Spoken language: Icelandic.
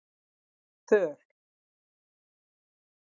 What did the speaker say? Þöll